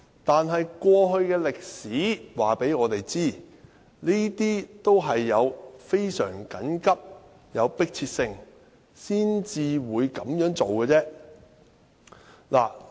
但是，歷史告訴我們，也是非常緊急和有迫切性才會這樣做。